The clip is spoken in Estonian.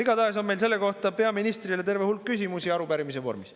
Igatahes on meil selle kohta peaministrile terve hulk küsimusi arupärimise vormis.